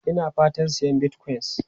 Ina fatan sayan Bitcoin.